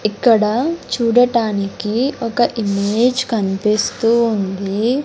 ఇక్కడ చూడటానికి ఒక ఇమేజ్ కనిపిస్తూ ఉంది.